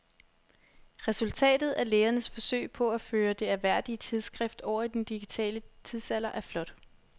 Resultatet af lægernes forsøg på at føre det ærværdige tidsskrift over i den digitale tidsalder er flot.